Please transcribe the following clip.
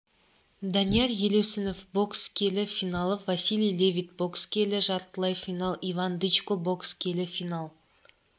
данияр елеусінов бокс келі финал василий левит бокс келі жартылай финал иван дычко бокс келі финал